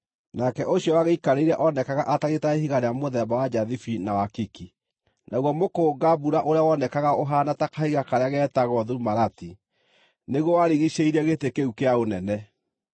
Nake ũcio wagĩikarĩire onekaga atariĩ ta ihiga rĩa mũthemba wa njathibi na wakiki. Naguo mũkũnga-mbura ũrĩa wonekaga ũhaana ta kahiga karĩa getagwo thumarati, nĩguo warigiicĩirie gĩtĩ kĩu kĩa ũnene.